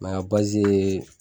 Mɛ a ye